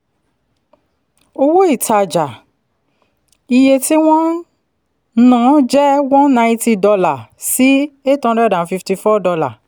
owó ìtajà - iye tí wọ́n ná jẹ́ one ninety dollar si eight hundred and fifty four dollar